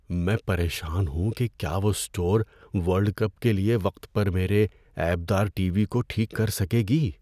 میں پریشان ہوں کہ کیا وہ اسٹور ورلڈ کپ کے لیے وقت پر میرے عیب دار ٹی وی کو ٹھیک کر سکے گی۔